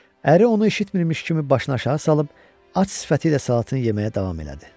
Əri onu eşitmirmiş kimi başını aşağı salıb, aç sifəti ilə salatını yeməyə davam elədi.